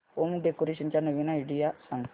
home decoration च्या नवीन idea सांग